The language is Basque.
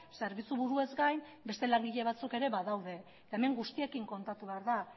zerbitzu buruez gain beste langile batzuk ere badaude eta hemen guztiekin kontatu behar da